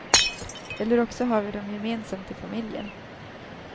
Eller också har vi dem gemensamt i familjen.